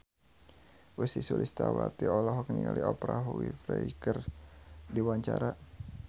Ussy Sulistyawati olohok ningali Oprah Winfrey keur diwawancara